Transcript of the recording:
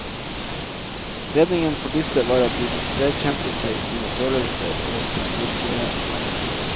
Redningen for disse var at de vedkjente seg sine følelser og sin virkelighet.